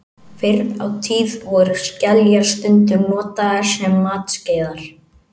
Fyrr á tíð voru skeljar stundum notaðar sem matskeiðar.